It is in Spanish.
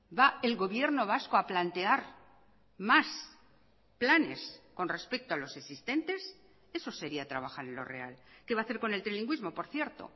va el gobierno vasco a plantear más planes con respecto a los existentes eso sería trabajar en lo real qué va a hacer con el trilingüismo por cierto